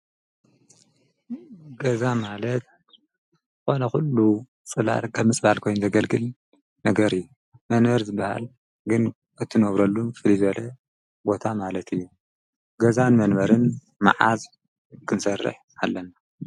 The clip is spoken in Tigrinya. ገዛ ማለት ኾነ ዂሉ ስላር ቀምስ ባል ኮይም ዘገልግል ነገር እዩ መንበር ዘበሃል ግን እትነወብረሉ ፍሊዘለ ቦታ ማለት እዩ ገዛን መንበርን መዓዝ ክዘርሕ ኣለና